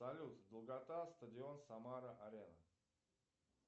салют долгота стадион самара арена